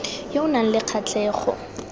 yo o nang le kgatlhego